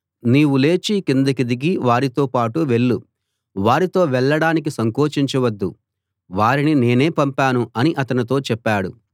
నీవు లేచి కిందికి దిగి వారితో పాటు వెళ్ళు వారితో వెళ్ళడానికి సంకోచించవద్దు వారిని నేనే పంపాను అని అతనితో చెప్పాడు